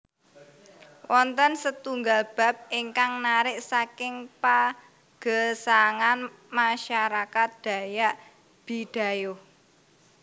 Wonten setunggal bab ingkang narik saking pagesangan masyarakat dayak bidayuh